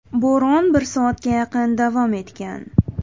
Bo‘ron bir soatga yaqin davom etgan.